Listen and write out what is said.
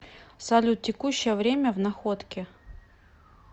салют текущее время в находке